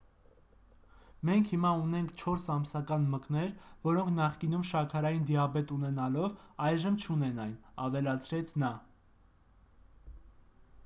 «մենք հիմա ունենք 4 ամսական մկներ որոնք նախկինում շաքարային դիաբետ ունենալով այժմ չունեն այն,- ավելացրեց նա։»